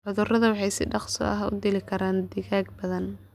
Cuduradu waxay si dhakhso ah u dili karaan digaag badan.